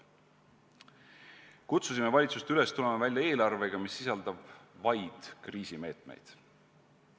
" Kutsusime valitsust üles tulema välja eelarvega, mis sisaldaks vaid kriisimeetmeid.